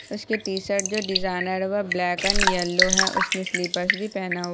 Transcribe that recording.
उसके टी-शर्ट जो डिज़ाइनर है वो ब्लैक एंड येलो है उसने स्लीपर्स भी पहना हुआ --